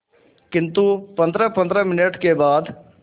किंतु पंद्रहपंद्रह मिनट के बाद